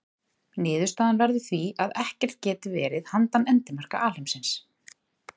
Niðurstaðan verður því að ekkert geti verið handan endamarka alheimsins.